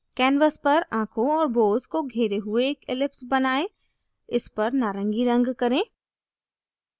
canvas पर आँखों और bows को घेरे हुए एक ellipse बनाएं इस पर नारंगी रंग करें